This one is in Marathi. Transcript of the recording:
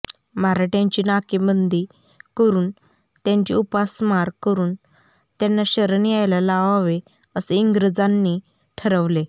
मराठ्यांची नाकेबंदी करून त्यांची उपासमार करून त्यांना शरण यायला लावावे असे इंग्रजांनी ठरवले